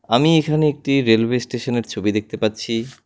আমি এখানে একটি রেলওয়ে স্টেশনের ছবি দেখতে পাচ্ছি।